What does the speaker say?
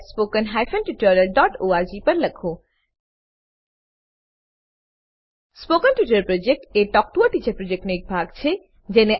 spoken tutorial project talk to a teacher પ્રોજેક્ટનો એક ભાગ છે